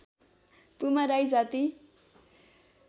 पुमा राई जाति